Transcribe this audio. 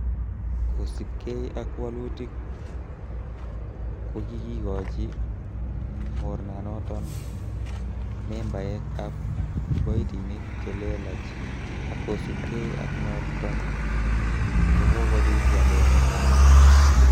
kosiibge ak woluutik, ko kikigochi mornanoton membaek ab kiboitinik che lelach ak kosiibge ak noton ko kobit walet nekararan.